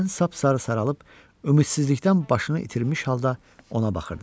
Mən sap-sarı saralıb ümidsizlikdən başını itirmiş halda ona baxırdım.